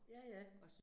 Ja ja